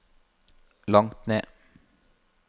langt ned